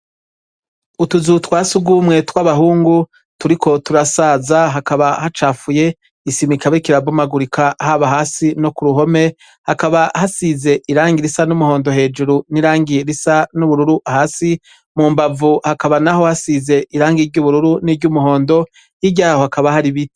Utuzu twa sugumwe tw'abahungu turiko turasaza hakaba hacafuye, isima ikaba iriko irabomagurika haba hasi no ku ruhome, hakaba hasize irangi risa n'umuhondo hejuru n'irangi risa n'ubururu hasi, mu mbavu hakaba naho hasize irangi ry'ubururu niry'umuhondo, hirya yaho hakaba hari ibiti.